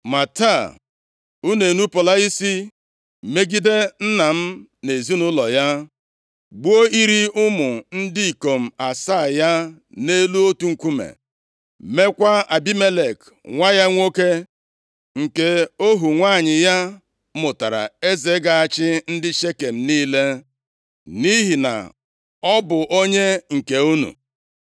Ma taa, unu enupula isi megide nna m na ezinaụlọ ya, gbuo iri ụmụ ndị ikom asaa ya nʼelu otu nkume, meekwa Abimelek nwa ya nwoke nke ohu nwanyị ya mụtara eze ga-achị ndị Shekem niile, nʼihi na ọ bụ onye nke unu.